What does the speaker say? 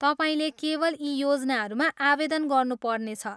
तपाईँले केवल यी योजनाहरूमा आवेदन गर्नु पर्नेछ।